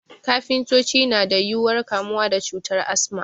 Kafintoci na da yuwuwar kamuwa da cutar Asma